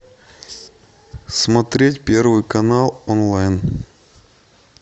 смотреть первый канал онлайн